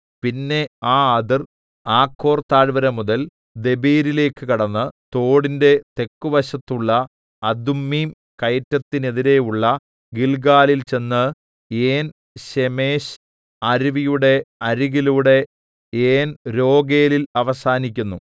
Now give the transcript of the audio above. പിന്നെ ആ അതിർ ആഖോർ താഴ്‌വരമുതൽ ദെബീരിലേക്ക് കടന്ന് തോടിന്റെ തെക്കുവശത്തുള്ള അദുമ്മീം കയറ്റത്തിന്നെതിരെയുള്ള ഗില്ഗാലിൽ ചെന്ന് ഏൻശേമെശ് അരുവിയുടെ അരികിലൂടെ ഏൻരോഗേലിൽ അവസാനിക്കുന്നു